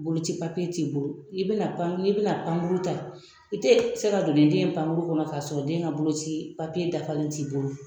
Boloci papiye t'i bolo n'i bɛna pankuru ta n'i bɛna pankuru ta i tɛ se ka don ni den ye pankuru kɔnɔ k'a sɔrɔ den ka boloci papiye dafalen t'i bolo